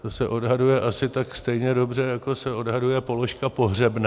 To se odhaduje asi tak stejně dobře, jako se odhaduje položka pohřebné.